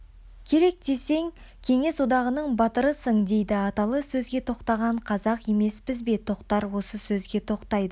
керек десе кеңес одағының батырысың дейді аталы сөзге тоқтаған қазақ емеспіз бе тоқтар осы сөзге тоқтайды